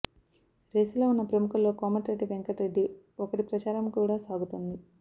రేసులో ఉన్న ప్రముఖుల్లో కోమటిరెడ్డి వెంకట్ రెడ్డి ఒకరి ప్రచారం కూడా సాగుతోంది